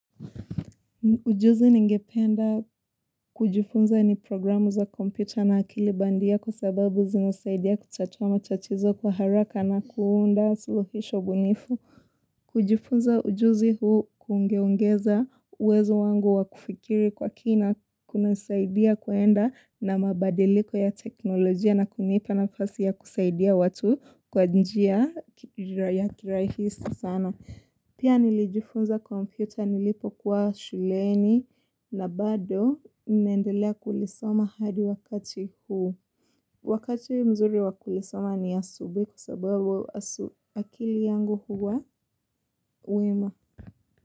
Ujuzi ningependa kujifunza ni programu za kompyuta na akili bandia kwa sababu zinasaidia kutatuwa matatizo kwa haraka na kuunda suluhisho bunifu. Kujifunza ujuzi huu kungeongeza uwezo wangu wa kufikiri kwa kina kunasaidia kuenda na mabadiliko ya teknolojia na kunipa nafasi ya kusaidia watu kwa njia ya kirahisi sana. Pia nilijifunza kompyuta nilipokuwa shuleni na bado ninaendelea kulisoma hadi wakati huu. Wakati mzuri wa kulisoma ni asubuhi kwa sababu akili yangu huwa wema.